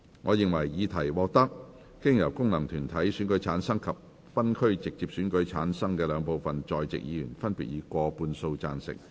我認為議題獲得經由功能團體選舉產生及分區直接選舉產生的兩部分在席議員，分別以過半數贊成。